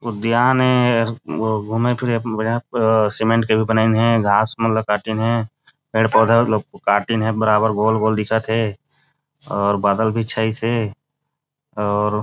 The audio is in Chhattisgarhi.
उद्यान हे घूमे- फिरे बर सीमेंट के बनाये हे घास मन ला काटिन हे पेड़- पौधा काटिन हे बराबर गोल- गोल दिखत थे अउ बादल भी छाईस हे और --